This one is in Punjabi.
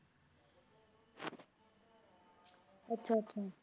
ਅੱਛਾ ਅੱਛਾ।